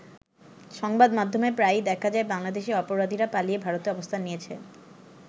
সংবাদ মাধ্যমে প্রায়ই দেখা যায় বাংলাদেশের অপরাধীরা পালিয়ে ভারতে অবস্থান নিয়েছে।